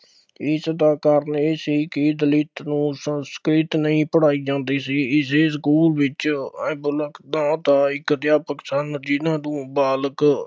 ਇਸਦਾ ਕਾਰਨ ਇਹ ਸੀ ਕਿ ਦਲਿਤ ਨੂੰ ਸੰਸਕ੍ਰਿਤ ਨਹੀਂ ਪੜ੍ਹਾਈ ਜਾਂਦੀ ਸੀ, ਇਸ ਲਈ ਸਕੂਲ ਵਿੱਚ ਨਾਂ ਦਾ ਇੱਕ ਅਧਿਆਪਕ ਸਨ ਜਿੰਨਾ ਤੋਂ ਬਾਲਕ